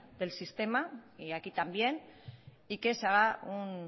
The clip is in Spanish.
del sistema y aquí también y que se haga un